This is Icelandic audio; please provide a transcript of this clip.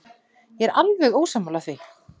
Ég er alveg ósammála því.